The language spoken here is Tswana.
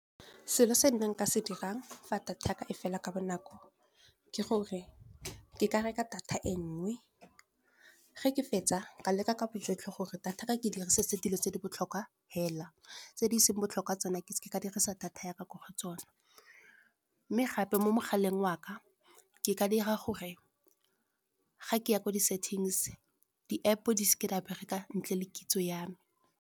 Selo se nka se dirang fa data yaka e fela ka bonako, ke gore ke ka reka data e nngwe. Ge ke fetsa ka leka ka bojotlhe gore data ka ke dirise se dilo tse di botlhokwa, fela tse di seng botlhokwa tsona ke dirisa data ya ka ko go tsone. Mme gape mo mogaleng wa ka, ke ka dira gore ga ke ya kwa di-settings di-App-o di seke di a bereka ntle le kitso yame.